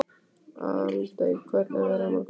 Aldey, hvernig er veðrið á morgun?